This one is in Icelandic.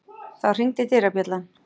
Þá hringdi dyrabjallan.